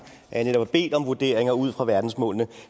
jeg netop har bedt om vurderinger ud fra verdensmålene